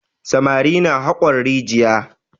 Samari na haƙon rijiya.